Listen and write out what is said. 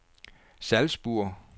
Salzburg